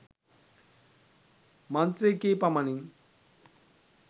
මන්ත්‍ර කී පමණින්